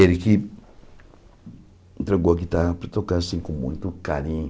Ele que entregou a guitarra para eu tocar, assim, com muito carinho.